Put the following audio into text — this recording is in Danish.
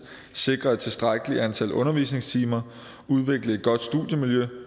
sikre et tilstrækkeligt antal undervisningstimer udvikle et godt studiemiljø